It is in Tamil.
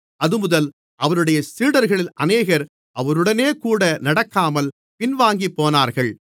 அதுமுதல் அவருடைய சீடர்களில் அநேகர் அவருடனேகூட நடக்காமல் பின்வாங்கிப்போனார்கள்